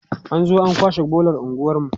an zo an kwashe bolar unguwarmu